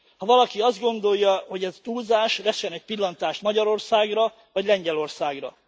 Ha valaki azt gondolja, hogy ez túlzás, vessen egy pillantást Magyarországra vagy Lengyelországra.